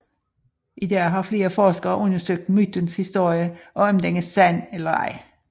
I dag har flere forskere undersøgt mytens historie og om den er sand eller ej